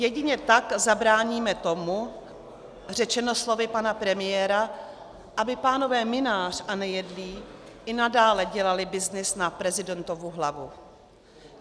Jedině tak zabráníme tomu, řečeno slovy pana premiéra, aby pánové Mynář a Nejedlý i nadále dělali byznys na prezidentovu hlavu.